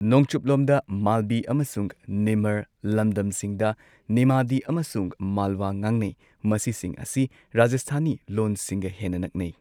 ꯅꯣꯡꯆꯨꯞꯂꯣꯝꯗ ꯃꯥꯜꯕꯤ ꯑꯃꯁꯨꯡ ꯅꯤꯃꯔ ꯂꯝꯗꯝꯁꯤꯡꯗ ꯅꯤꯃꯥꯗꯤ ꯑꯃꯁꯨꯡ ꯃꯥꯜꯋꯥ ꯉꯥꯡꯅꯩ꯫ ꯃꯁꯤꯁꯤꯡ ꯑꯁꯤ ꯔꯥꯖꯁꯊꯥꯅꯤ ꯂꯣꯟꯁꯤꯡꯒ ꯍꯦꯟꯅ ꯅꯛꯅꯩ꯫